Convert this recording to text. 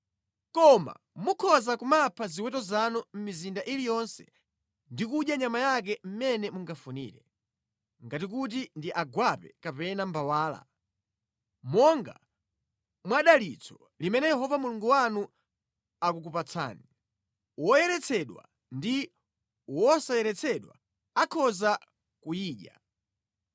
Koma mukhoza kumapha ziweto zanu mʼmizinda iliyonse ndi kudya nyama yake mmene mungafunire, ngati kuti ndi agwape kapena mbawala, monga mwadalitso limene Yehova Mulungu wanu akukupatsani. Woyeretsedwa ndi wosayeretsedwa akhoza kuyidya.